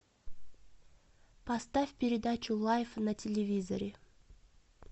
поставь передачу лайф на телевизоре